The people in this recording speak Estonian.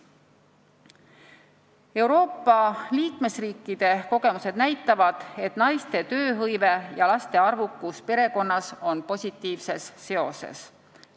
Euroopa liikmesriikide kogemused näitavad, et naiste tööhõive ja laste arv perekonnas on positiivses seoses.